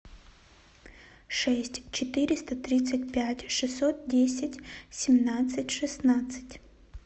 шесть четыреста тридцать пять шестьсот десять семнадцать шестнадцать